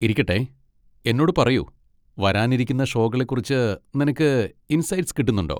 ഇരിക്കട്ടെ, എന്നോട് പറയൂ, വരാനിരിക്കുന്ന ഷോകളെ കുറിച്ച് നിനക്ക് ഇന്സൈറ്റ്സ് കിട്ടുന്നുണ്ടോ?